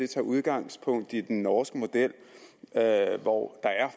tager udgangspunkt i den norske model hvor der er